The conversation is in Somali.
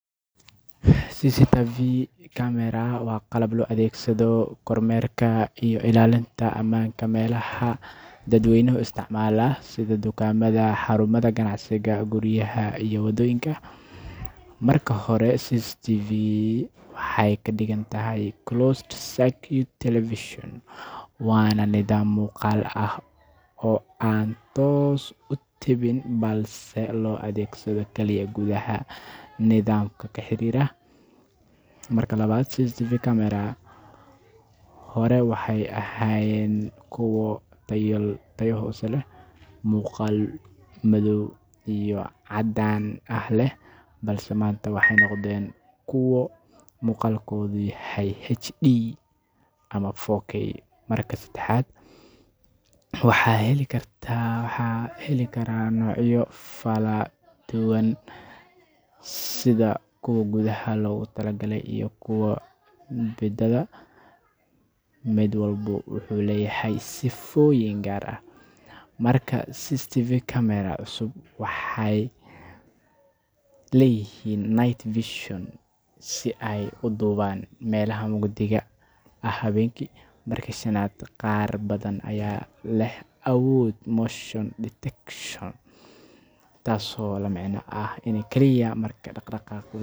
CCTV camera waa qalab loo adeegsado kormeerka iyo ilaalinta ammaanka meelaha dadweynuhu isticmaalo sida dukaamada, xarumaha ganacsiga, guryaha iyo waddooyinka. Marka hore, CCTV waxay ka dhigan tahay Closed-Circuit Television, waana nidaam muuqaal ah oo aan toos u tebin balse loo adeegsado kaliya gudaha nidaamka la xiriira. Marka labaad, CCTV cameras hore waxay ahaayeen kuwo tayo hoose leh, muuqaal madow iyo caddaan ah leh, balse maanta waxay noqdeen kuwo muuqaalkoodu yahay HD ama 4K. Marka saddexaad, waxaa la heli karaa noocyo kala duwan sida kuwa gudaha loogu talagalay iyo kuwa dibadda, mid walba wuxuu leeyahay sifooyin gaar ah. Marka afraad, CCTV cameras cusub waxay leeyihiin night vision si ay uga duubaan meelaha mugdiga ah habeenkii. Marka shanaad, qaar badan ayaa leh awood motion detection, taasoo la micno ah in kaliya marka.